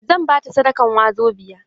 Zan ba ta sadakan wazobiya.